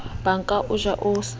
ba ka o ja o